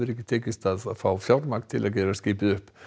tekist að fá fjármagn til að gera skipið upp